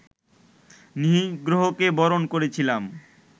নিগ্রহকে বরণ করেছিলাম